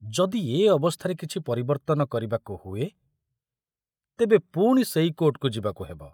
ଯଦି ଏ ଅବସ୍ଥାରେ କିଛି ପରିବର୍ତ୍ତନ କରିବାକୁ ହୁଏ ତେବେ ପୁଣି ସେଇ କୋର୍ଟକୁ ଯିବାକୁ ହେବ।